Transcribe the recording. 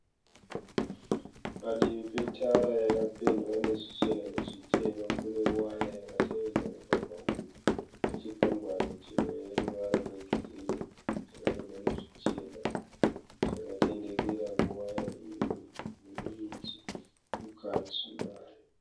Padivi petara yakapendwa nezvichena nezvitema. Kune waya yakatevedza mugwagwa uyu nechikwangwani chine ruvara rwegirinhi chakanyorwa nezvichena chakatendekera kuwaya ine miti mukati mayo.